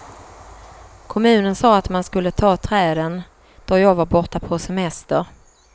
Kommunen sa att man skulle ta träden, då jag var borta på semester.